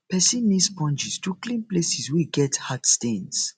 person need sponges to clean places wey get hard stains